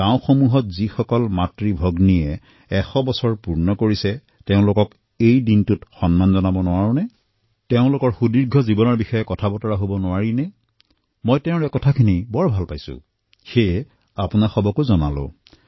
গাঁও আৰু চহৰত যিসকলে ১০০ বৰ্ষ পূৰ্ণ কৰিছে তেওঁলোকৰ সন্মানাৰ্থে কিবা কাৰ্যসূচী আয়োজন কৰিব পাৰি নেকি আৰু তাত দীৰ্ঘ জীৱনৰ কথা আলোচনা কৰিব পাৰি নেকি মোৰ এই প্ৰস্তাৱটো ভাল লাগিল সেয়ে আপোনালোকলৈও প্ৰদান কৰিলোঁ